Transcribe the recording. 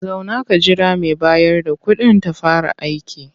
Zauna ka jira mai bayar da kuɗin ta fara aiki.